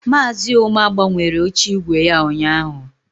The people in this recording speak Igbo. Maazị Ụma gbanwere oche ígwè ya ụnyaahụ.